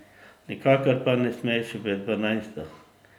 Nikakor pa ne smeš v dvanajsto.